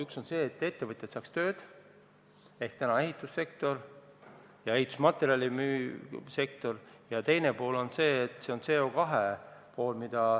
Üks on see, et ettevõtjad saaks tööd – ehitussektor ja ehitusmaterjali müüv sektor –, ja teine pool on CO2 pool.